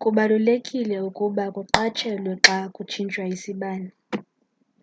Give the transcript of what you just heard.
kubalulekile ukuba kuqatshelwe xa kutshintshwa isibane